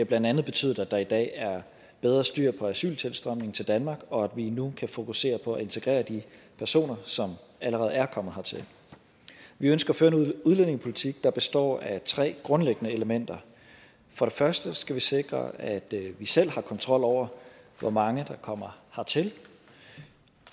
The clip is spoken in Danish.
blandt andet betydet at der i dag er bedre styr på asyltilstrømningen til danmark og at vi nu kan fokusere på at integrere de personer som allerede er kommet hertil vi ønsker at føre en udlændingepolitik der består af tre grundlæggende elementer for det første skal vi sikre at vi selv har kontrol over hvor mange der kommer hertil